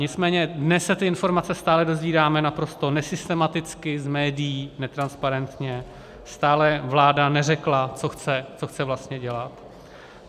Nicméně dnes se ty informace stále dozvídáme naprosto nesystematicky, z médií, netransparentně, stále vláda neřekla, co chce vlastně dělat.